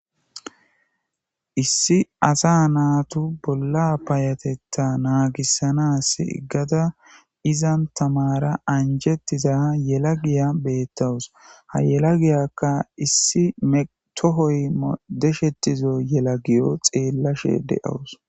Issi asa naatu bolla payatetta naagissanaas iggada izan tamara anjetiza yela giya beettawus ha yela giyakka issi metohoy deshetizo yela giyo xeellashe de7awus